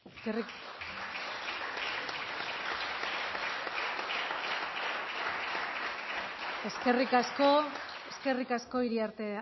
eta berriro mila esker guztioi eskerrik asko iriarte